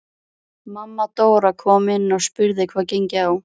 Mamma Dóra kom inn og spurði hvað gengi á.